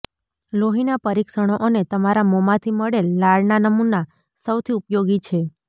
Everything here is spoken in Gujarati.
લોહીના પરીક્ષણો અને તમારા મોંમાંથી મળેલ લાળના નમૂના સૌથી ઉપયોગી છે